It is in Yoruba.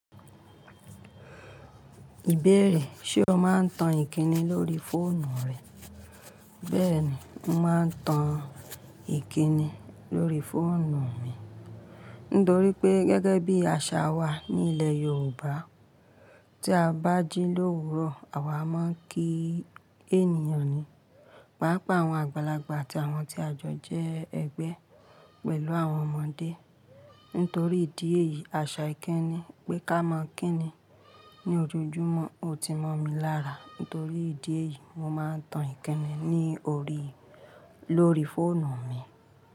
Ìbéèrè, ṣe o máa ń tan ìkíni lórí fóònù rẹ? Bẹ́ẹ̀ ni, mo máa ń tan ìkíni lórí fóònù mi. Nítorí pé gẹ́gẹ́ bí àṣà wa ní ilẹ̀ Yorùbá, tí a bá jí l'òwúrọ̀, àwa máa ń kí ènìyàn ni. Paapaa àwọn àgbàlagbà àti àwọn tí àjọ jẹ́ ẹgbẹ́ pẹ̀lú àwọn ọmọdé. Nítorí ìdí èyí, àṣà ìkíni pé ká máa ń kí ni ní ojojúmọ́. O ti mọ̀ mi lára, nítorí ìdí èyí, mo máa ń tan ìkíni ní orí lórí fóònù mi.